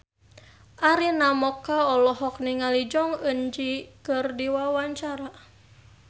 Arina Mocca olohok ningali Jong Eun Ji keur diwawancara